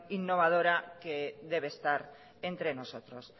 innovadora que debe estar entre nosotros